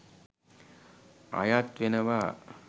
අයත් වෙනවා.